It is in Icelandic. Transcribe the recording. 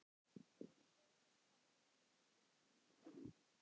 Þeir sögðust hafa unnið mikið.